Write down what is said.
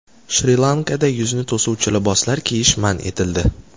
Shri-Lankada yuzni to‘suvchi liboslar kiyish man etildi.